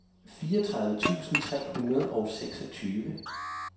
fireogtredive tusind tre hundrede og seksogtyve